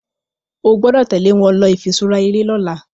o gbódò tèlé wón ló ifiṣura eré lỌ̀la